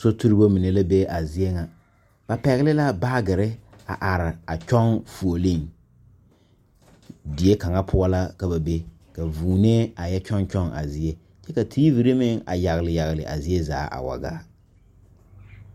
So tuurebo mine la be a zie ŋa ba pɛgle la baagyirre a are a kyɔŋ fuolee die kaŋa poɔ la ka ba be ka vūūnee a yɛ kyɔŋkyɔŋ a zie ka teevire meŋ a yagle yagle a zaa a waa gaa.